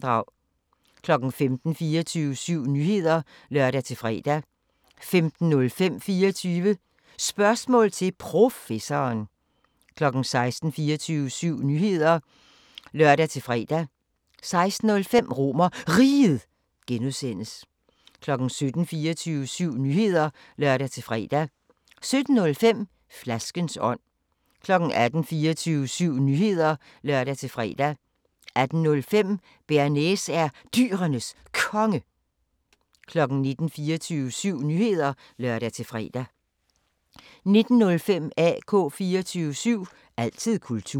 15:00: 24syv Nyheder (lør-fre) 15:05: 24 Spørgsmål til Professoren 16:00: 24syv Nyheder (lør-fre) 16:05: RomerRiget (G) 17:00: 24syv Nyheder (lør-fre) 17:05: Flaskens ånd 18:00: 24syv Nyheder (lør-fre) 18:05: Bearnaise er Dyrenes Konge 19:00: 24syv Nyheder (lør-fre) 19:05: AK 24syv – altid kultur